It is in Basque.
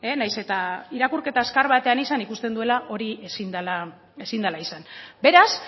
naiz eta irakurketa azkar batean izan ikusten duela hori ezin dela ezin dela izan beraz